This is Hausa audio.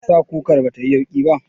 Meyasa kukar batayi yauƙi ba?